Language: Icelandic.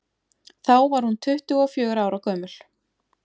þá var hún tuttugu og fjögurra ára gömul